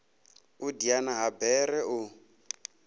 u diana ha bere u